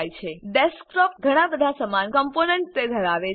desktop કમ્પ્યુટરની સમાન ઘણા બધા સમાન કમ્પોનન્ટ તે ધરાવે છે